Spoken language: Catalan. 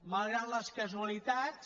malgrat les casualitats